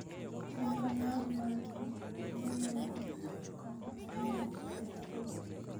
Chenro mar manyo ong'e molal konyo ahinya e tij pur.